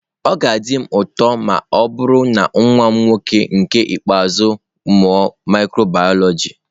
Obi ga-adị m ụtọ ma ọ bụrụ na nwa m nwoke nke ikpeazụ mụọ Mikrobioloji.